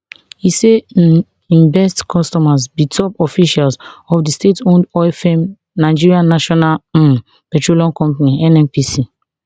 e say im best customers be top officials of di stateowned oil firm nigerian national um petroleum company nnpc